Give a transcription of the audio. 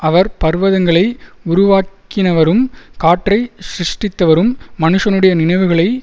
அவர் பர்வதங்களை உருவாக்கினவரும் காற்றைச் சிருஷ்டித்தவரும் மனுஷனுடைய நினைவுகளை